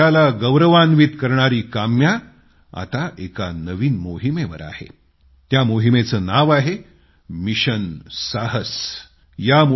देशाला गौरवान्वित करणारी काम्या आता एका नवीन मोहिमेवर आहे त्या मोहिमेचं नाव आहे मिशन साहस अशी माहिती मला मिळाली आहे